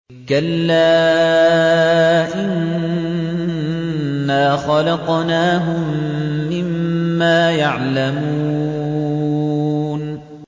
كَلَّا ۖ إِنَّا خَلَقْنَاهُم مِّمَّا يَعْلَمُونَ